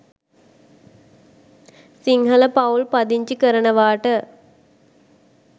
සිංහල පවුල් පදිංචි කරනවාට